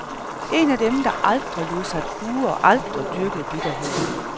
En af dem, der aldrig lod sig kue og aldrig dyrkede bitterheden.